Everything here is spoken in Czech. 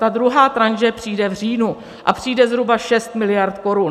Ta druhá tranše přijde v říjnu a přijde zhruba 6 miliard korun.